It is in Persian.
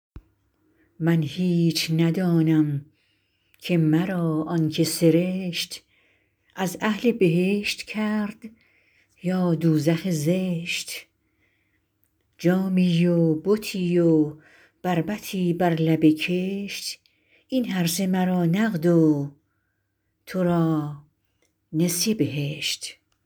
من هیچ ندانم که مرا آن که سرشت از اهل بهشت کرد یا دوزخ زشت جامی و بتی و بربطی بر لب کشت این هرسه مرا نقد و تو را نسیه بهشت